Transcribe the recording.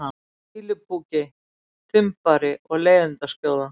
fýlupoki, þumbari og leiðindaskjóða?